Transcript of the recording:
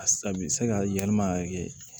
A bɛ se ka yɛlɛma ka kɛ